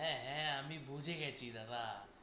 হ্যাঁ হ্যাঁ আমি বুঝে গেছি দাদা।